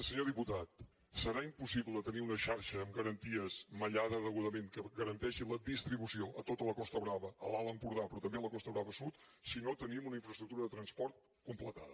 senyor diputat serà impossible tenir una xarxa amb garanties mallada degudament que garanteixi la distribució a tota la costa brava a l’alt empordà però també a la costa brava sud si no tenim una infraestructura de transport completada